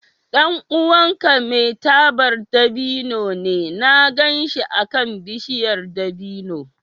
Ɗan uwanka mai tabar dabino ne? Na gan shi akan bishiyar dabino.